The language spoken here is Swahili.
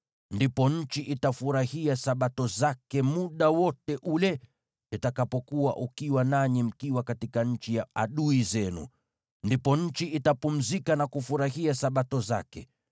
Ndipo nchi itafurahia Sabato zake muda wote ule itakapokuwa ukiwa, nanyi mkiwa katika nchi ya adui zenu. Ndipo nchi itapumzika na kufurahia Sabato zake.